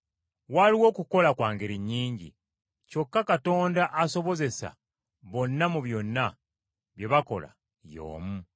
Waliwo okukola kwa ngeri nnyingi kyokka Katonda asobozesa bonna mu byonna bye bakola y’omu.